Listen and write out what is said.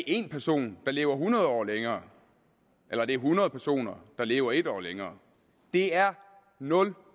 en person der lever hundrede år længere eller hundrede personer der lever en år længere det er nul